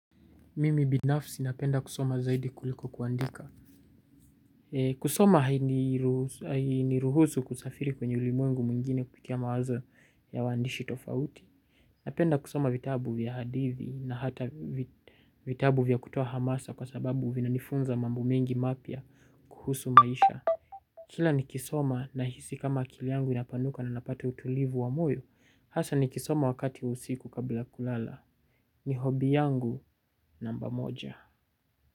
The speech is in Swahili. Mimi binafsi napenda kusoma zaidi kuliko kuandika. Kusoma hainiruhusu kusafiri kwenye ulimwengu mwingine kusikia mawazo ya waandishi tofauti. Napenda kusoma vitabu vya hadithi na hata vitabu vya kutoa hamasa kwa sababu vina nifunza mambo mengi mapya kuhusu maisha. Kila nikisoma nahisi kama akili yangu inapanuka na napata utulivu wa moyo. Hasa nikisoma wakati wa usiku kabla ya kulala. Ni hobi yangu namba moja.